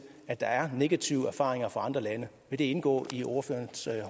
at der er negative erfaringer fra andre lande vil det indgå i ordførerens